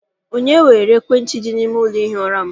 Onye weere ekwentị dị n'ime ụlọ ihi ụra m?